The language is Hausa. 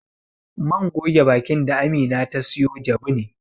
Man goge bakin da Amina ta sayo jabu ne.